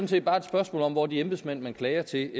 set bare et spørgsmål om hvor de embedsmænd man klager til